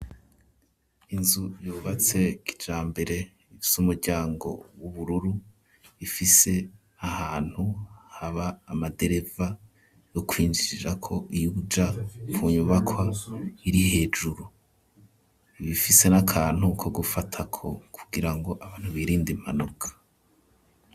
Inzu yubatse kijambere ifise umuryango w'ubururu ,ifise ahantu haba amadereva yo kwinjirirako ija ku nyubakwa iri hejuru, ibifise n'akantu ko gufatako kugira ngo abantu birinde impanuka.